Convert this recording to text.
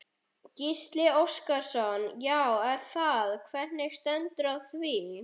Gísli Óskarsson: Já er það, hvernig stendur á því?